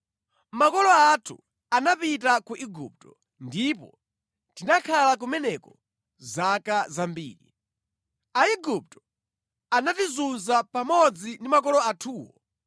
Makolo athu anapita ku Igupto ndipo tinakhala kumeneko zaka zambiri. Aigupto anatizunza pamodzi ndi makolo athuwo,